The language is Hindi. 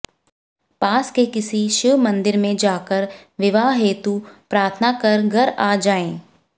पास के किसी शिव मंदिर में जाकर विवाह हेतु प्रार्थना कर घर आ जाएं